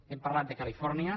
hem parlat de califòrnia